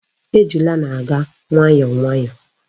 Ejula na-aga nwayo nwayo